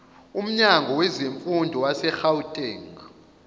umnyango wezemfundo wasegauteng